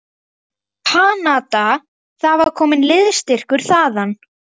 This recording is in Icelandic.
Kanada, það var kominn liðsstyrkur þaðan.